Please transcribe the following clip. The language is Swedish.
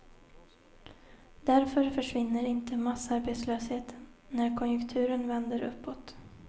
Därför försvinner inte massarbetslösheten när konjunkturen vänder uppåt.